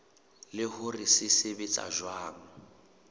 le hore se sebetsa jwang